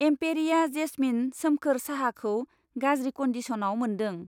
एम्पेरिया Jasmine सोमखोर साहा खौ गाज्रि कन्दिसनाव मोन्दों।